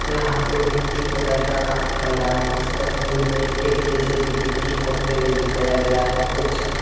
यहाँ पे मिट्टी खुदाई का काम चल रहा है। इस तस्वीर में एक जे.सी.बी. मिट्टी खोदते हुए दिखाया गया है। कुछ --